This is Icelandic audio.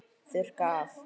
Þurrka af.